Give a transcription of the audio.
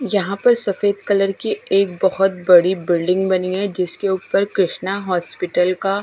यहां पर सफेद कलर की एक बहोत बड़ी बिल्डिंग बनी है जिसके ऊपर कृष्णा हॉस्पिटल का--